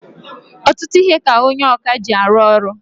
Ọtụtụ ihe ka onye ọkà ji arụ ọrụ.